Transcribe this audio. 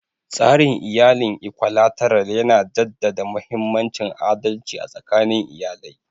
Tsarin iyalin Ikwalateral yana jaddada mahimmancin adalci a tsakanin iyali.